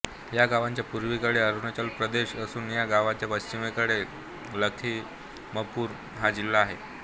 या गावाच्या पूर्वेकडे अरुणाचल प्रदेश असून या गावच्या पश्चिमेकडे लखीमपूर हा जिल्हा आहे